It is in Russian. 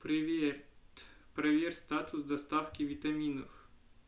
привет проверь статус доставки витаминов